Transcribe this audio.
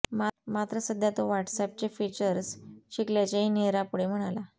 मात्र सध्या तो व्हॉट्सअॅपचे फीचर्स शिकल्याचेही नेहरा पुढे म्हणाला